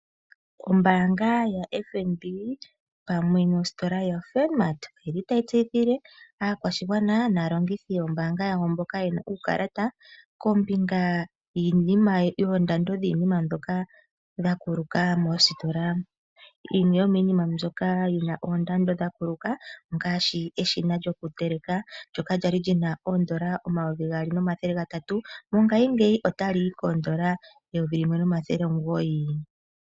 Ombanga yaFNB pamwe nositola yoFunmart otayi tseyithile aakwashigwana naalongithi yombanga yawo mboka yena uukalata kombinga yoondando dhiinima mbyoka yakuluka moositola. Yimwe yomiinima mbyoka yina oondando dha kuluka ongaashi eshina lyoku teleka. Ndjoka lyali lyina oodollar omayovi gaali omathele gatatu. Mongashingeyi otali yi koodollar eyovi limwe nomathele omugoyi.